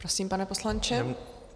Prosím, pane poslanče.